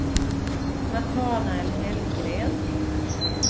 Natanael Hellgren